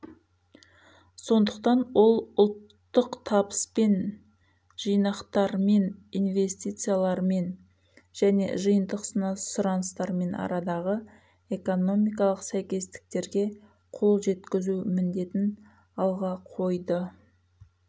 сондықтан ол ұлттық табыспен жинақтармен инвестициялармен және жиынтық сұраныстармен арадағы экономикалық сәйкестіктерге қол жеткізу міндетін алға қойды